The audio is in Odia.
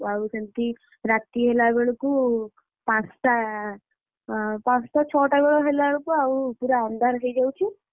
ଆଉ ସେମିତି ରାତି ହେଲା ବେଳକୁ ପାଞ୍ଚଟା ଛଅଟାବେଳ ହେଲା ବେଳକୁ ଆଉ ପୁରା ଅନ୍ଧାର ହେଇଯାଉଛି ଆଉ ମୁଁ,